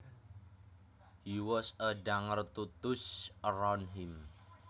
He was a danger to those around him